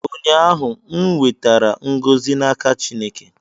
ụnyaahụ, m nwetara ngọzị n'aka Chineke